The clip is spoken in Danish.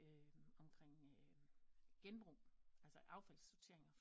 Omkring genbrug altså affaldssortering